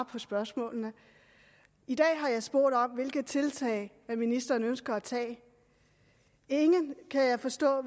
på spørgsmålene i dag har jeg spurgt om hvilke tiltag ministeren ønsker at tage ingen kan jeg forstå